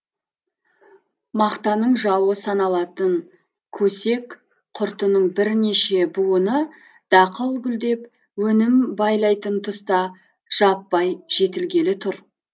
мақтаның жауы саналатын көсек құртының бірнеше буыны дақыл гүлдеп өнім байлайтын тұста жаппай жетілгелі тұр